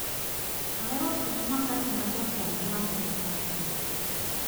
Ahero such makati majapong` yamo mar chiro.